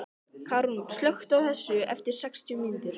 Karún, slökktu á þessu eftir sextíu mínútur.